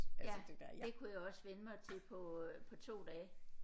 Ja det kunne jeg også vende mig til på øh på 2 dage